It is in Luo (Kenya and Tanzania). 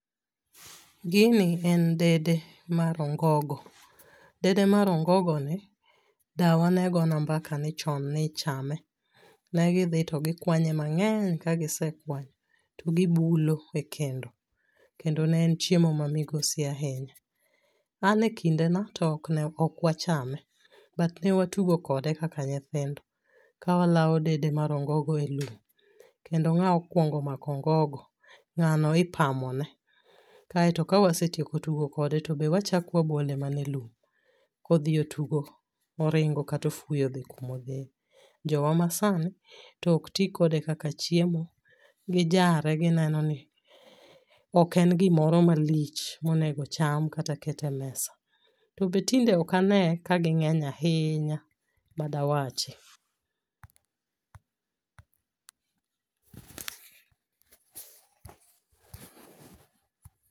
Gini en dede mar ongogo. Dede mar ongogo ni dawa ne gona mbaka ni chon nichame. Ne gidhi to gikwanye mang'eny kagisekwanyo to gibulo e kendo, kendo ne en chiemo ma migoso ahinya. An e kindeno to okwachame but ne watugo kode kaka nyithindo ka walao dede mar ongogo e lum kendo ng'ao kuongo mako ongogo ng'ano ipamone, kaeto kawasetieko tugo kode to be wachako wabole mana e lum, kodhi otugo, oringo katofuyo odhi kumodhiye. Jowa masani tokti kode kaka chiemo, gijare gineo ni oken gimoro malich monego cham kata ket e mesa, to be tinde okane kaging'eny ahinya madawachi.